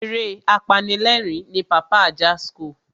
Eré apanilerin ni Pàpá Ajasco.